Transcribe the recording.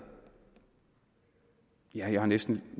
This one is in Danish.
ja jeg har næsten